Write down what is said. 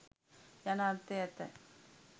යන අර්ථය ඇත.